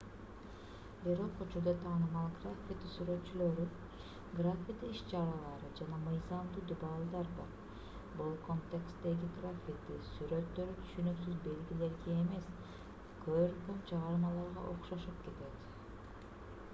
бирок учурда таанымал граффити сүрөтчүлөрү граффити иш-чаралары жана мыйзамдуу дубалдар бар бул контексттеги граффити сүрөттөрү түшүнүксүз белгилерге эмес көркөм чыгармаларга окшошуп кетет